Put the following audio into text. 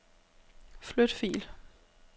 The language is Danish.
Flyt fil.